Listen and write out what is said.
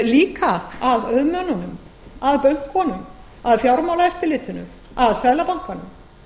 líka að auðmönnunum að bönkunum að fjármálaeftirlitinu að seðlabankanum